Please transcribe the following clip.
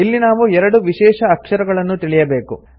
ಇಲ್ಲಿ ನಾವು ಎರಡು ವಿಶೇಷ ಅಕ್ಷರಗಳನ್ನು ತಿಳಿಯಬೇಕು